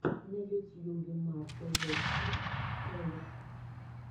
на ютьюбе марта зэпсри ролик